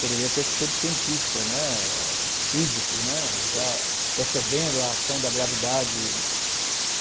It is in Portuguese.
Poderia ter sido cientista, né, físico, né, já percebendo a ação da gravidade.